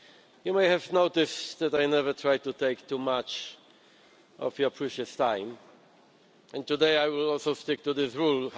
You may have noticed that I never try to take too much of your precious time, and today I will also stick to this rule.